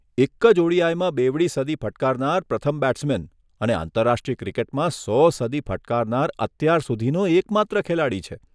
એક જ ઓડીઆઈમાં બેવડી સદી ફટકારનાર પ્રથમ બેટ્સમેન અને આંતરરાષ્ટ્રીય ક્રિકેટમાં સો સદી ફટકારનાર અત્યાર સુધીનો એકમાત્ર ખેલાડી છે.